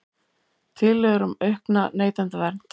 Tillögur um aukna neytendavernd